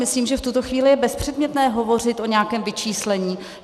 Myslím, že v tuto chvíli je bezpředmětné hovořit o nějakém vyčíslení.